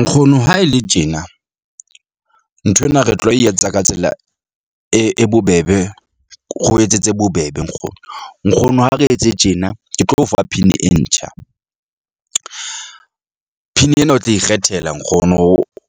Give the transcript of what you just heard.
Nkgono ha e le tjena nthwena re tlo e etsa ka tsela e e bobebe. Re o etsetse bobebe nkgono. Nkgono ha re etse tjena. Ke tlo o fa PIN-i e ntjha . PIN ena o tla ikgethela nkgono